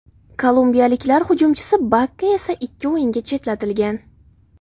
Kolumbiyaliklar hujumchisi Bakka esa ikki o‘yinga chetlatilgan.